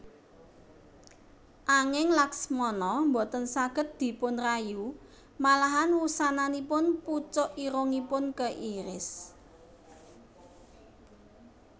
Anging Laksmana boten saged dipunrayu malahan wusananipun pucuk irungipun keiris